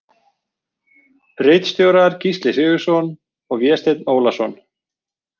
Ritstjórar Gísli Sigurðsson og Vésteinn Ólason.